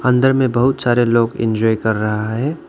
अंदर में बहुत सारे लोग इंजॉय कर रहा है।